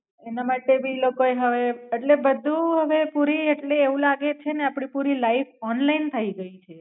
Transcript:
એના માટે ભી ઈ લોકો એ હવે એટલે બધું ને પુરી એટલે એવું લાગે છે ને આપડી પુરી લાઇફ ઓનલાઇન થઈ ગઈ છે.